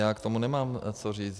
Já k tomu nemám co říct.